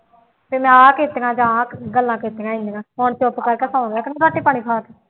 ਬਈ ਮੈਂ ਆਹ ਕੀਤੀਆਂ ਜਾਂ ਆਹ ਗੱਲਾਂ ਕੀਤੀਆਂ ਐਨੀਆਂ ਹੁਣ ਚੁੱਪ ਕਰਕੇ ਸੌਂ ਗਿਆ ਕਿ ਨਹੀਂ ਰੋਟੀ ਪਾਣੀ ਖਾ ਕੇ